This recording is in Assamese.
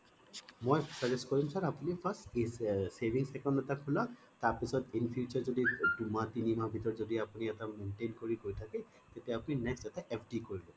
মই suggest কৰিম sir আপুনি first savings account এটা খুলক তাৰ পিছত in future যদি দুহ মাহ তিনি মাহ ধৰি এটা maintain কৰি গৈ থাকে তেতিয়া আপোনি next এটা FD কৰি লব